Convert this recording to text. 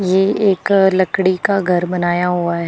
ये एक लकड़ी का घर बनाया हुआ--